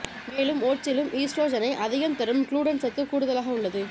மேலும் ஓட்ஸிலும் ஈஸ்ட்ரோஜனை அதிகம் தரும் க்ளூட்டன் சத்து கூடுதலாக உள்ளது